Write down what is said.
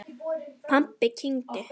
Pabbi kyngdi.